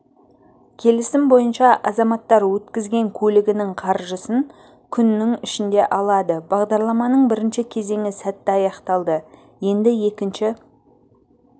келісім бойынша азаматтар өткізген көлігінің қаржысын күннің ішінде алады бағдарламаның бірінші кезеңі сәтті аяқталды енді екінші